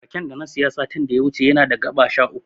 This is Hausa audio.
Raken da na siya satin da ya wuce yana da gaɓa sha uku.